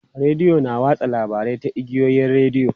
Rediyo na watsa labarai ta igiyoyin rediyo.